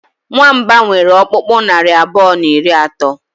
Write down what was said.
nwamba nwere ọkpụkpụ naari abụọ na iri atọ